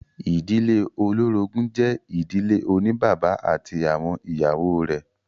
Ìdílé olórogún jẹ́ ìdílé oní bàbá ati awọn ìyàwó rẹ̀.